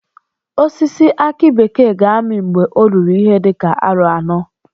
Osisi aki bekee ga-ami mgbe o ruru ihe dị ka aro anọ